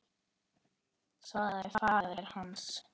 svaraði faðir hans.